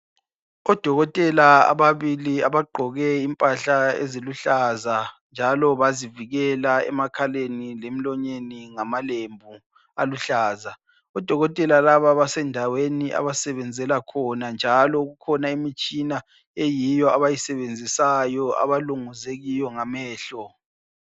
Odokotela ababili abagqoke impahla eziluhlaza njalo bazivikela emakhaleni lemilonyeni ngamalembu aluhlaza. Odokotela laba basendaweni abasebenzela khona, njalo kukhona imitshina eyiyo abayisebenzisayo, abalunguze kiyo ngamehlo.